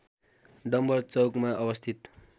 डम्‍बर चौकमा अवस्थित